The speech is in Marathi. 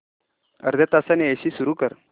अर्ध्या तासाने एसी सुरू कर